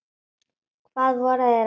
Hvað voru þeir að vilja?